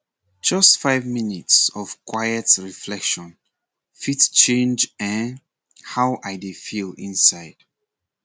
just five minutes of quiet reflection fit change[um]how i dey feel inside